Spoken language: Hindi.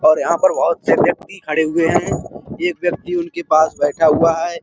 और यहाँ पर बहोत से व्यक्ति खड़े हुए हैं और एक व्यक्ति उनके पास बैठा हुआ है।